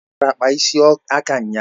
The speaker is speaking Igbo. O bịara kpaa ịsị aka ụnyaahụ